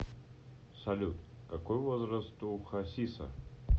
салют какой возраст у хасиса